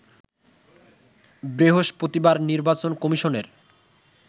বৃহস্পতিবার নির্বাচন কমিশনের